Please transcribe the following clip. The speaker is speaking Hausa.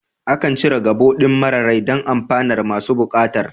Akan cire gabo ɗin mara rai don amfanar masu buƙatar